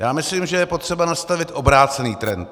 Já myslím, že je potřeba nastavit obrácený trend.